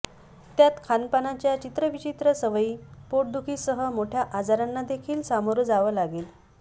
त्यात खानपानाच्या चित्रविचित्र सवयी पोट दुखी सह मोठ्या आजारांना देखील समोर जावं लागेल